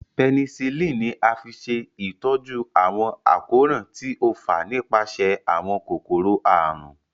Penicillin ní a fí ṣe ìtọjú àwọn àkóràn tí o fà nípasẹ àwọn kòkòrò àrùn.